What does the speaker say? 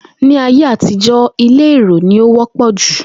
Ní ayé àtijó̩, ilé èrò ni ó wó̩pò̩ jù